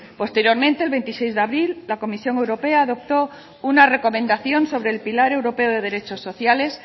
posteriormente el veintiséis de abril la comisión europea adoptó una recomendación sobre el pilar europeo de derechos sociales